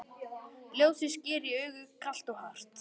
Ljósið sker í augu, kalt og hart.